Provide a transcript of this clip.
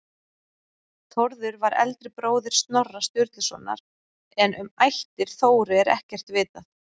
Þórður var eldri bróðir Snorra Sturlusonar en um ættir Þóru er ekkert vitað.